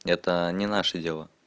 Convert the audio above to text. это не наши дела